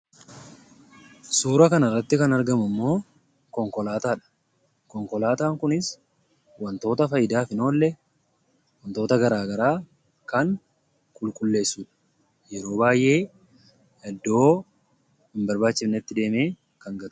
Suuraa kanarratti kan argamu immoo konkolaataa dha. Konkolaataan kunis wantoota faayidaaf hin oolle; wantoota garaagaraa kan qulqulleessuu dha. Yeroo baay'ee iddoo hin barbaachifnetti deemee kan gatuu dha.